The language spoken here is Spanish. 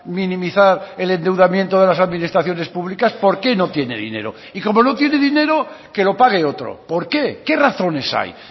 minimizar el endeudamiento de las administraciones públicas por qué no tiene dinero y como no tiene dinero que lo pague otro por qué qué razones hay